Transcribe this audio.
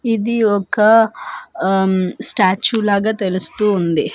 ఇది ఒక హుమ్మ్ స్టాచ్యూ లాగ తెలుస్తూ ఉంది.